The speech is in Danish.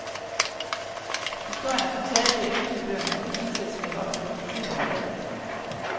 Historien er som taget ud af eventyrbøgerne og lige til at smække op på filmlærredet.